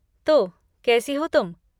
तो, कैसी हो तुम?